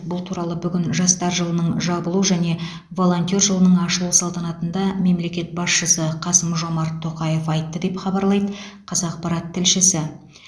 бұл туралы бүгін жастар жылының жабылу және волонтер жылының ашылу салтанатында мемлекет басшысы қасым жомарт тоқаев айтты деп хабарлайды қазақпарат тілшісі